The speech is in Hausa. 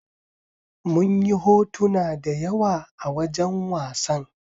Munyi hotona da yawa a wajan wasan